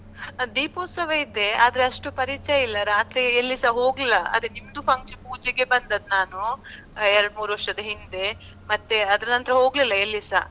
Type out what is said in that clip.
ದೀಪೋತ್ಸವ ಇದೆ. ಆದ್ರೆ ಅಷ್ಟು ಪರಿಚಯ ಇಲ್ಲ ರಾತ್ರಿ ಎಲ್ಲಿಸಾ ಹೋಗ್ಲಾ ಅದ್ಕೆ ನಿಮ್ದು ಪೂಜೆಗೆ ಬಂದದ್ ನಾನು, ಎರಡ್ ಮೂರ್ ವರ್ಷದ್ ಹಿಂದೆ ಮತ್ತೆ ಅದ್ರನಂತರ ಹೋಗ್ಲಿಲ್ಲ ಎಲ್ಲಿಸಾ.